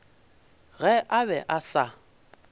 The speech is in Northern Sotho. ge a be a sa